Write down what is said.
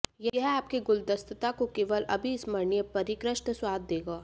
यह आपके गुलदस्ता को केवल अविस्मरणीय परिष्कृत स्वाद देगा